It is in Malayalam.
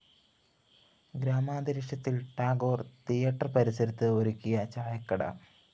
ഗ്രാമാന്തരീക്ഷത്തില്‍ ടാഗോര്‍ തിയേറ്റർ പരിസരത്ത് ഒരുക്കിയ ചായക്കട